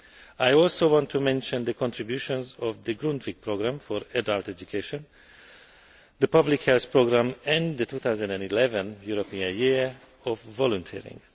I also want to mention the contributions of the Grundtvig programme for adult education, the public health programme and the 2011 European Year of Volunteering.